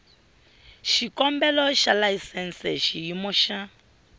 xikombelo xa layisense xiyimo xa